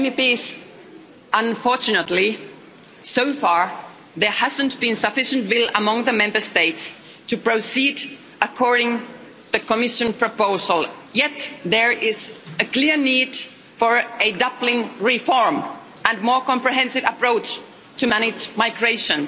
Dear MEPs, unfortunately, so far there hasn't been sufficient will among the Member States to proceed according to the Commission proposal, yet there is a clear need for a Dublin reform and a more comprehensive approach to manage migration.